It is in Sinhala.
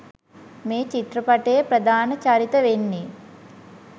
මේ චිත්‍රපටයේ ප්‍රධාන චරිත වෙන්නේ